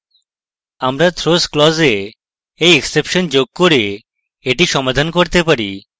আমরা throws clause we we exception যোগ করে এটি সমাধান করতে পারি